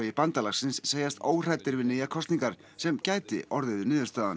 bandalagsins segjast óhræddir við nýjar kosningar sem gæti orðið niðurstaðan